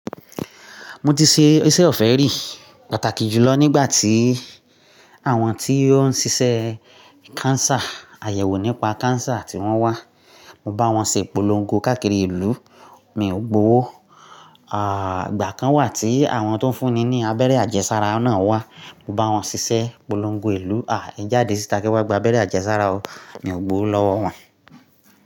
Mo ti ṣe iṣẹ́ ọ̀fẹ́ rí pàtàkì jùlọ nígbà tí àwọn tí ó ń ṣiṣẹ́ cancer, àyẹ̀wò nípa cancer tí wọ́n wá. Mo bá wọn ṣe ìpolongo káàkiri ìlú, mi ò gbówo. Àá, ìgbà kan wà tí àwọn tó ń fúnni ní abẹ́rẹ́ àjẹsára náà wá. Mo bá wọn ṣiṣẹ́ ìpolongo ìlú. À, ẹ jáde síta kí wọ́n gba abẹ́rẹ́ àjẹsára o, mi ò gbó lọ́wọ́ wọn.